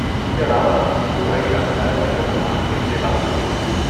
اس کے علاوہ، خدا ہی جانتا ہے ان کےپکوان کتنے باسی ہوتے ہیں۔